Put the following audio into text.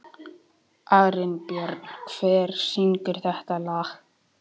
Arinbjörn, hver syngur þetta lag?